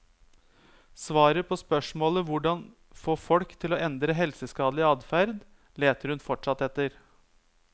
Svaret på spørsmålet hvordan få folk til å endre helseskadelig adferd, leter hun fortsatt etter.